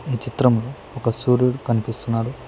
ఈ చిత్రంలో ఒక సూర్యుడు కనిపిస్తున్నాడు.